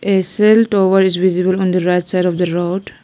A cell tower is visible on the right side of the road.